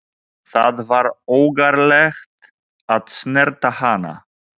Það var ógerlegt að snerta hana.